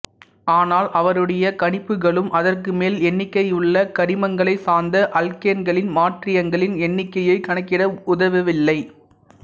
ஆனால் அவருடைய கணிப்புகளும் அதற்குமேல் எண்ணிக்கையுள்ள கரிமங்களைச் சார்ந்த அல்கேன்களின் மாற்றியங்களின் எண்ணிக்கையைக் கணக்கிட உதவவில்லை